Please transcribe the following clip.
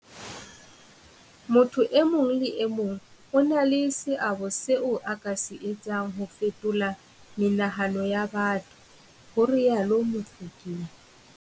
Motho e mong le e mong o na le seabo seo a ka se etsang ho fetola menahano ya batho, ho rialo Mofokeng.